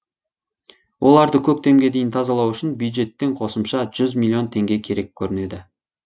оларды көктемге дейін тазалау үшін бюджеттен қосымша жүз миллион теңге керек көрінеді